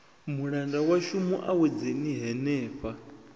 mulanda washu mu awedzeni henefha